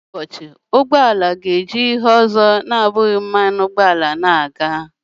Otu ụbọchị, ụgbọ ala ga-eji ihe ọzọ na-abụghị mmanụ ụgbọala.